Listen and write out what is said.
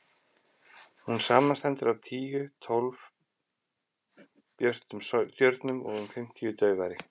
hún samanstendur af tíu til tólf björtum stjörnum og um fimmtíu daufari